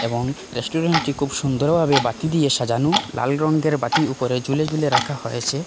এবং রেস্টুরেন্টটি খুব সুন্দরভাবে বাতি দিয়ে সাজানো লাল রঙ্গের বাতি উপরে ঝুলে ঝুলে রাখা হয়েছে।